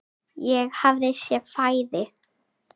Hvað sé við hæfi.